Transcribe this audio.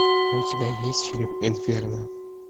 у тебя есть фильм инферно